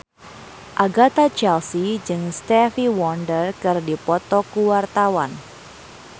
Agatha Chelsea jeung Stevie Wonder keur dipoto ku wartawan